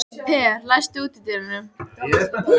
Per, læstu útidyrunum.